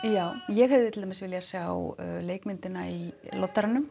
ég hefði til dæmis viljað sjá leikmyndina í